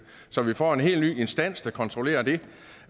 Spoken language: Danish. så vi får en helt ny instans der kontrollerer det